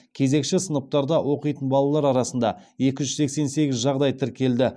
кезекші сыныптарда оқитын балалар арасында екі жүз сексен сегіз жағдай тіркелді